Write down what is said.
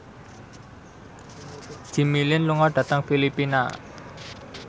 Jimmy Lin lunga dhateng Filipina